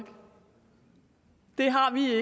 det har vi